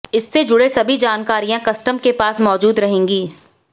इससे जुड़े सभी जानकारियां कस्टम के पास मौजूद रहेगी